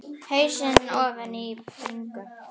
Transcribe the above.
Hausinn ofan í bringu.